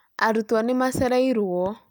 Arutwo nĩ macereĩrũo